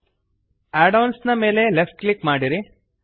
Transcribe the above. add ಒಎನ್ಎಸ್ ನ ಮೇಲೆ ಲೆಫ್ಟ್ ಕ್ಲಿಕ್ ಮಾಡಿರಿ